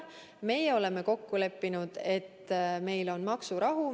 Meie oleme kokku leppinud, et meil on maksurahu.